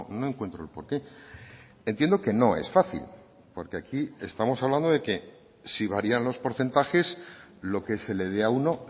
no encuentro por qué entiendo que no es fácil porque aquí estamos hablando de que si varían los porcentajes lo que se le dé a uno